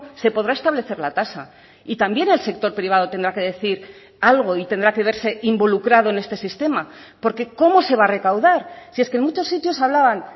se podrá establecer la tasa y también el sector privado tendrá que decir algo y tendrá que verse involucrado en este sistema porque cómo se va a recaudar si es que en muchos sitios hablaban